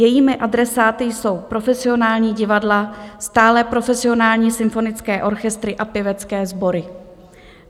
Jejími adresáty jsou profesionální divadla, stálé profesionální symfonické orchestry a pěvecké sbory.